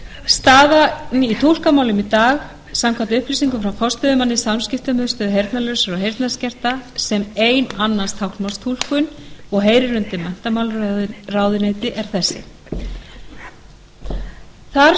þeirra staðan í túlkamálum í dag samkvæmt upplýsingum frá forstöðumanni samskiptamiðstöðvar heyrnarlausra og heyrnarskertra sem ein annast táknmálstúlkun og heyrir undir menntamálaráðuneyti er þessi þar starfa